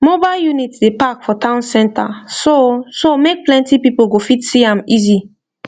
mobile unit dey park for town center so so make plenty people go fit see am easy